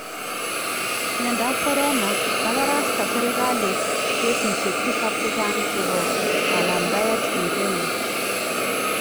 Myandap corona :Kabarasta serikaliit keesisyeek 7 chechang chebo kanamdaet en Kenya